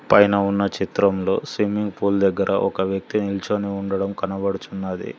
పైన ఉన్న చిత్రంలో స్విమ్మింగ్ పూల్ దగ్గర ఒక వ్యక్తి నిల్చొని ఉండడం కనబడుచున్నది.